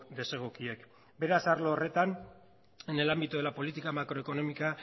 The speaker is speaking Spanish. desegokiek beraz arlo horretan en el ámbito de la política macroeconómica